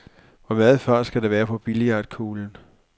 Hvor meget fart skal der være på billiardkuglen?